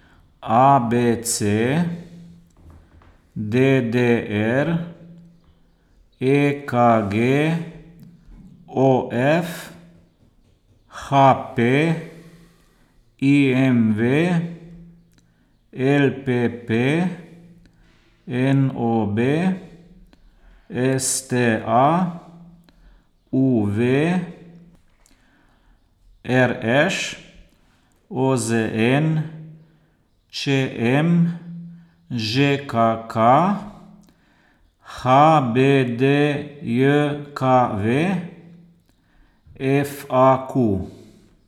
A B C; D D R; E K G; O F; H P; I M V; L P P; N O B; S T A; U V; R Š; O Z N; Č M; Ž K K; H B D J K V; F A Q.